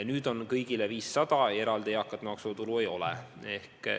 Nüüd on kõigile 500 eurot ja eraldi eakate maksuvaba tulu ei ole.